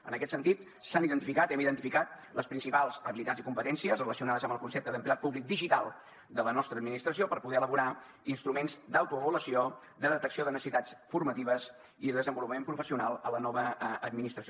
en aquest sentit s’han identificat hem identificat les principals habilitats i competències relacionades amb el concepte d’empleat públic digital de la nostra administració per poder elaborar instruments d’autoavaluació de detecció de necessitats formatives i de desenvolupament professional a la nova administració